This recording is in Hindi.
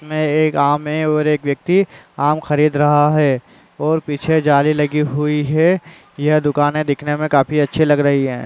इसमें एक आम है और एक व्यक्ति आम खरीद रहा है और पीछे जाली लगी हुई है। यह दुकाने दीखने मे काफी अच्छी लग रही हैं। .